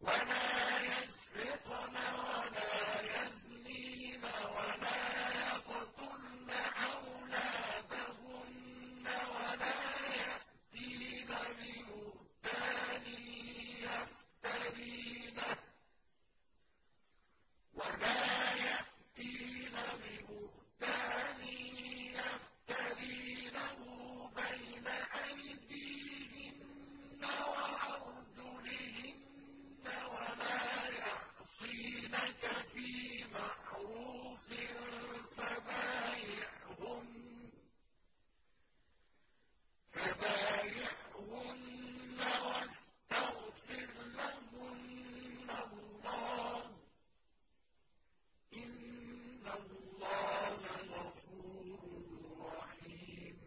وَلَا يَسْرِقْنَ وَلَا يَزْنِينَ وَلَا يَقْتُلْنَ أَوْلَادَهُنَّ وَلَا يَأْتِينَ بِبُهْتَانٍ يَفْتَرِينَهُ بَيْنَ أَيْدِيهِنَّ وَأَرْجُلِهِنَّ وَلَا يَعْصِينَكَ فِي مَعْرُوفٍ ۙ فَبَايِعْهُنَّ وَاسْتَغْفِرْ لَهُنَّ اللَّهَ ۖ إِنَّ اللَّهَ غَفُورٌ رَّحِيمٌ